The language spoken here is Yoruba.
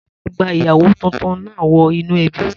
Ta ló máa gba ìyàwó tuntun náà wọ inú ẹbí?